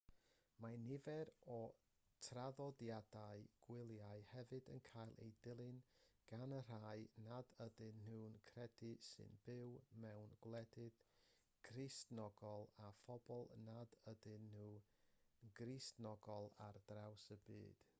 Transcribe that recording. mae nifer o'r traddodiadau gwyliau hefyd yn cael eu dilyn gan y rhai nad ydyn nhw'n credu sy'n byw mewn gwledydd cristnogol a phobl nad ydyn nhw'n gristnogol ar draws y byd